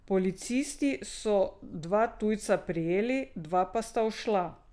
Policisti so dva tujca prijeli, dva pa sta ušla.